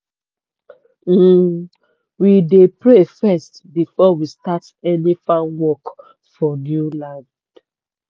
um we dey pray first before we start any farm work for new land.